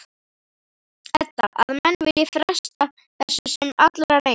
Edda: Að menn vilji fresta þessu sem allra lengst?